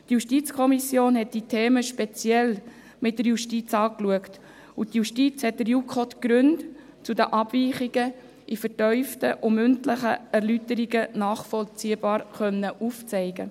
Die JuKo hat diese Themen speziell mit der Justiz angeschaut, und die Justiz hat der JuKo die Gründe für die Abweichungen in vertieften mündlichen Erläuterungen nachvollziehbar aufgezeigt.